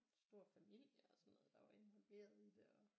En stor familie og sådan noget der var involveret i det og